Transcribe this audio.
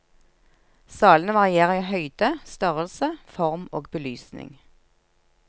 Salene varierer i høyde, størrelse, form og belysning.